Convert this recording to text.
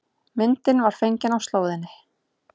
Myndin var fengin á slóðinni